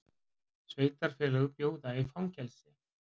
Sveitarfélög bjóði í fangelsi